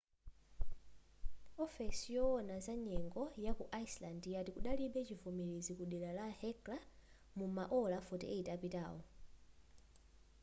ofesi yowona za nyengo yaku iceland yati kudalibe chivomerezi ku dera la hekla muma ola 48 apitawo